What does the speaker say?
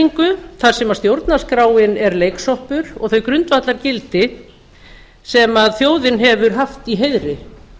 sjónhverfingu þar sem stjórnarskráin er leiksoppur og þau grundvallargildi sem þjóðin hefur haft í heiðri